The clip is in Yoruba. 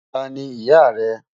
Táni iyá rẹ?